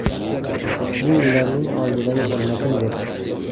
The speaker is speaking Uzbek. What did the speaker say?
Bu ularning oldidagi hurmatim’, deb”.